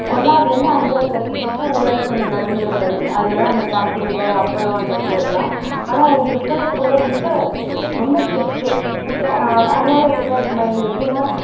ஒண்ணாவதுல இருந்து அஞ்சாவது வரைக்கும் மட்டும் ஊராட்சி ஒன்றிய நடுநிலைப் பள்ளி அதுலதான் அந்த பாக்கு மிட்டாய் அப்பளம் அந்த பூ அதெல்லாம் ஆனா என் கிறிஸ்தவ school ல ரொம்ப ரொம்ப strict உ ஆஹ் அந்த அந்த மாதிரி உங்களுக்கெல்லாம் இருக்குமா எனக்கு எப்படின்னா